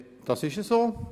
Das ist so.